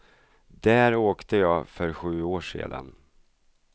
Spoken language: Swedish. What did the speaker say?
Där åkte jag för sju år sedan.